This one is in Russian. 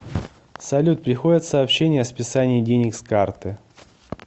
салют приходят сообщения о списании денег с карты